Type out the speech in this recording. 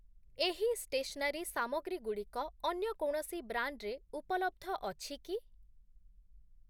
ଏହି ସ୍ଟେସ୍‌ନାରି ସାମଗ୍ରୀ ଗୁଡ଼ିକ ଅନ୍ୟ କୌଣସି ବ୍ରାଣ୍ଡ୍‌ରେ ଉପଲବ୍ଧ ଅଛି କି?